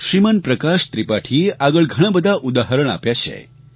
શ્રીમાન પ્રકાશ ત્રિપાઠીએ આગળ ઘણાં બધાં ઉદાહરણ આપ્યાં છે